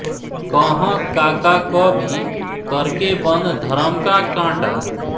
कहँ काका कवि करके बंद धरम का काँटा